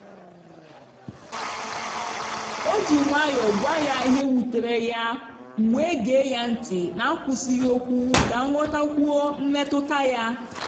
o ji nwayọọ gwa ya ihe wutere ya m wee gee ya ntị n’akwụsịghị okwu ka m ghọtakwuo mmetụta ya.